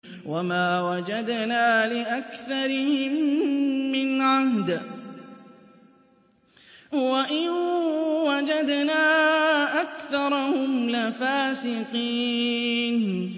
وَمَا وَجَدْنَا لِأَكْثَرِهِم مِّنْ عَهْدٍ ۖ وَإِن وَجَدْنَا أَكْثَرَهُمْ لَفَاسِقِينَ